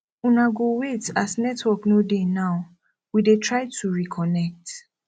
una go wait as network no dey now we dey try to reconnect